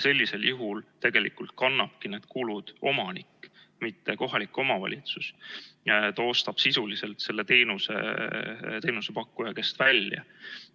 Sellisel juhul kannabki kulud omanik, mitte kohalik omavalitsus, ta ostab sisuliselt selle teenuse teenusepakkuja käest välja.